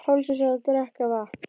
Páls eins og að drekka vatn.